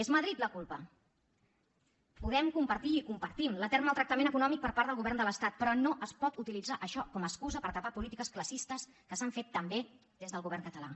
és madrid la culpa podem compartir i compartim l’etern maltractament econòmic per part del govern de l’estat però no es pot utilitzar això com a excusa per tapar polítiques classistes que s’han fet també des del govern català